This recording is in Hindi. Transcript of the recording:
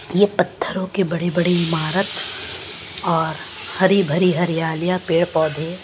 यह पत्थरों के बड़े-बड़े इमारत और हरी-भरी हरियालियां पेड़-पौधे--